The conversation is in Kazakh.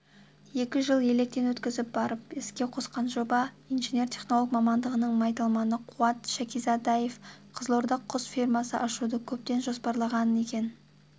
екі жыл електен өткізіп барып іске қосқан жоба инженер-технолог мамандығының майталманы қуат шәкизадаев қызылордада құс фермасын ашуды көптен жоспарлаған екен